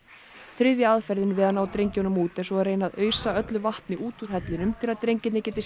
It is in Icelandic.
þriðja aðferðin við að ná drengjunum út er að reyna að ausa öllu vatni út úr hellinum til að drengirnir geti